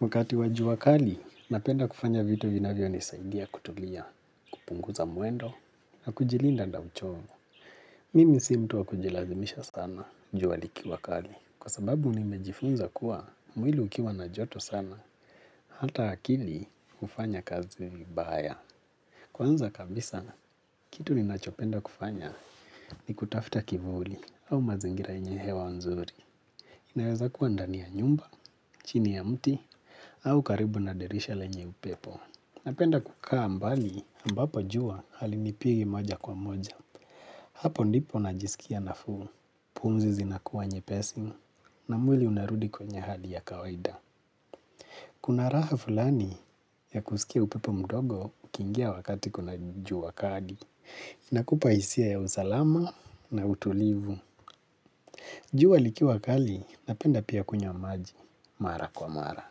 Wakati wa jua kali, napenda kufanya vitu vinavyo nisaidia kutulia kupunguza muendo na kujilinda na uchovu. Mimi si mtu wa kujilazimisha sana jua likiwa kali kwa sababu nimejifunza kuwa mwili ukiwa na joto sana hata akili ufanya kazi vibaya. Kwanza kabisa, kitu ninachopenda kufanya ni kutafta kivuli au mazingira yenye hewa nzuri. Inaweza kuwa ndani ya nyumba, chini ya mti, au karibu na dirisha lenye upepo. Napenda kukaa mbali ambapo jua halinipigi moja kwa moja. Hapo ndipo najisikia nafuu. Pumzi zinakuwa nyepesi na mwili unarudi kwenye hadi ya kawaida. Kuna raha fulani ya kusikia upepo mdogo ukingia wakati kuna jua kali. Na kupa isia ya usalama na utulivu. Jua likiwa kali, napenda pia kunywa maji, mara kwa mara.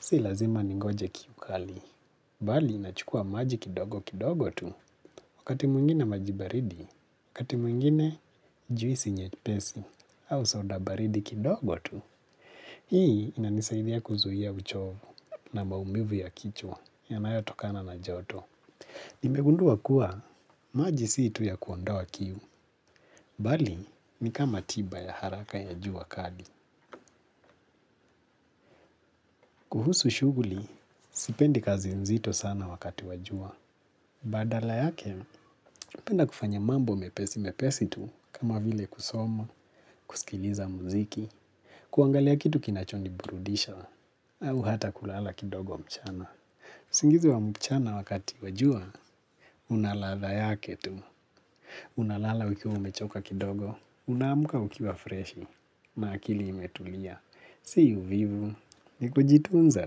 Si lazima ningoje kiu kali, bali nachukua maji kidogo kidogo tu, wakati mwingine maji baridi, wakati mwingine juisi nyepesi, au soda baridi kidogo tu. Hii inanisaidia kuzuia uchovu na maumivu ya kichwa yanayo tokana na joto. Nimegundua kuwa maji sii tu ya kuondoa kiu, bali ni kama tiba ya haraka ya jua kali. Kuhusu shugli, sipendi kazi mzito sana wakati wa jua. Badala yake, napenda kufanya mambo mepesi mepesi tu kama vile kusoma, kusikiliza muziki, kuangalia kitu kinacho niburudisha, au hata kulala kidogo mchana. Usingizi wa mchana wakati wa jua, unalatha yake tu. Unalala ukiwa umechoka kidogo, unamuka ukiwa freshi, na akili imetulia, si uvivu, nikujitunza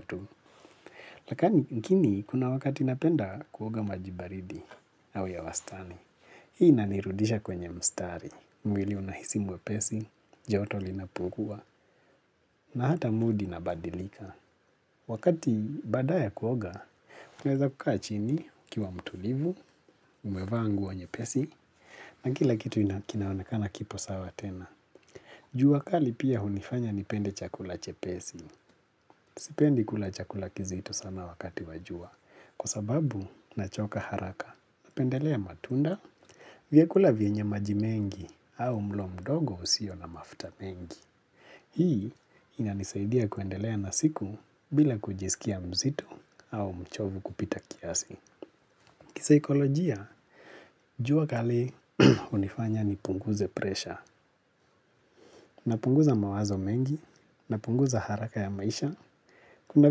tu. Lakani mkini kuna wakati napenda kuoga majibaridi au ya wastani. Hii inanirudisha kwenye mstari, mwili unahisi mwepesi, joto linapungua, na hata mood inabadilika. Wakati baada ya kuoga, uweza kukaa chini ukiwa mtulivu, umevaa nguo nyepesi, na kila kitu inakina wanakana kipo sawa tena. Jua kali pia hunifanya nipende chakula chepesi. Sipendi kula chakula kizito sana wakati wa jua, kwa sababu nachoka haraka. Napendelea matunda, viakula vyenye maji mengi, au mlo mdogo usio na mafta mengi. Hii ina nisaidia kuendelea na siku bila kujisikia mzito au mchovu kupita kiasi. Kisikolojia, jua kali unifanya ni punguze presha, napunguza mawazo mengi, na punguza haraka ya maisha. Kuna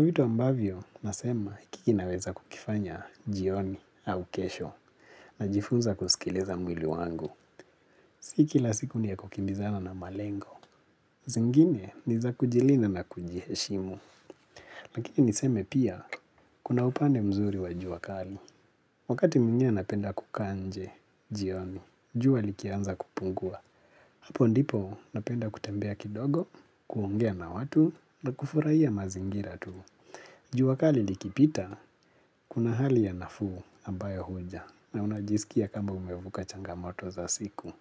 vitu ambavyo nasema ikiki naweza kukifanya jioni au kesho na jifunza kusikiliza mwili wangu. Si kila siku ni ya kukimbizana na malengo. Zingine niza kujilinda na kujiheshimu, lakini niseme pia kuna upande mzuri wa jua kali. Wakati mwingine napenda kukaa nje, jioni, jua likianza kupungua. Hapo ndipo napenda kutembea kidogo, kuongea na watu na kufurahia mazingira tu. Jua kali likipita, kuna hali ya nafuu ambayo huja na unajisikia kama umevuka changamoto za siku.